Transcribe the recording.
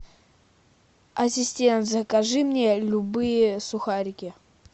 ассистент закажи мне любые сухарики